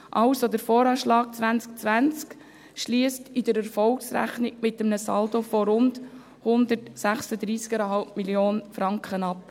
Der VA 2020 schliesst in der Erfolgsrechnung mit einem Saldo von rund 136,5 Mio. Franken ab.